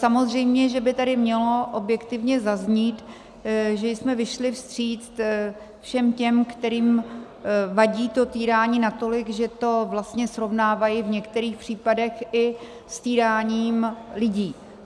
Samozřejmě že by tady mělo objektivně zaznít, že jsme vyšli vstříc všem těm, kterým vadí to týrání natolik, že to vlastně srovnávají v některých případech i s týráním lidí.